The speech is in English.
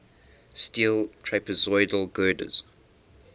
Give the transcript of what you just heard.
steel trapezoidal girders